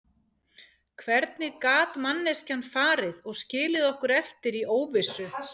Hvernig gat manneskjan farið og skilið okkur eftir í óvissu?